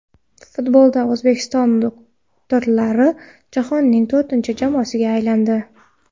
Futbolda O‘zbekiston doktorlari jahonning to‘rtinchi jamoasiga aylandi.